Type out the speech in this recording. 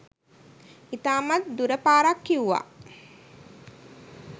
ඉතාමත්ම දුර පාරක් කිව්වා.